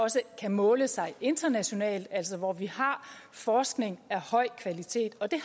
også kan måle sig internationalt altså hvor vi har forskning af høj kvalitet og det